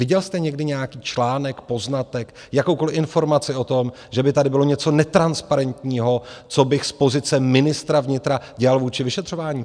Viděl jste někdy nějaký článek, poznatek, jakoukoliv informaci o tom, že by tady bylo něco netransparentního, co bych z pozice ministra vnitra dělal vůči vyšetřování?